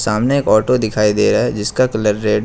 सामने एक ऑटो दिखाई दे रहा है जिसका कलर रेड है।